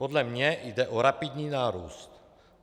Podle mě jde o rapidní nárůst.